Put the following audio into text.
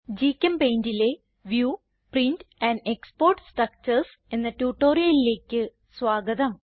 GChemPaintലെ view print and export structures എന്ന ട്യൂട്ടോറിയലിലേക്ക് സ്വാഗതം